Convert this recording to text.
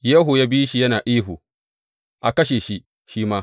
Yehu ya bi shi yana ihu, A kashe shi, shi ma!